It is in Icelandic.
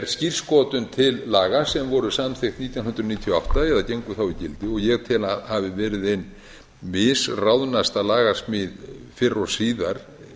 skírskotun til laga sem voru samþykkt nítján hundruð níutíu og átta eða gengu þá í gildi og ég tel að hafi verið ein misráðnasta lagasmíð fyrr og síðar